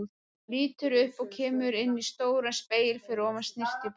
Lítur upp og kemur inn í stóran spegil fyrir ofan snyrtiborð.